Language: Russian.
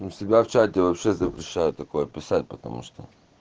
он всегда в чате вообще запрещают такое писать потому что